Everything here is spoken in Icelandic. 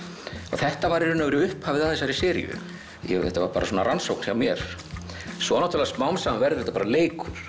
þetta var í raun og veru upphafið að þessari seríu þetta var bara svona rannsókn hjá mér svo náttúrulega smám saman verður þetta bara leikur